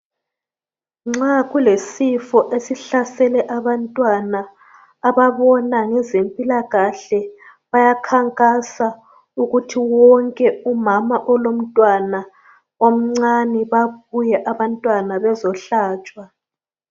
Nxa kulesifo esihlasele abantwana ababona ngezempilakahle bayakhankasa ukuthi wonke umama olomntwana omncane babuye abantwana bezohlatshwa.